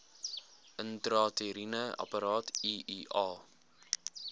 intrauteriene apparaat iua